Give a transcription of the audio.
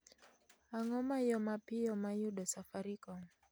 Ang'o ma yo mapiyo ma yudo safaricom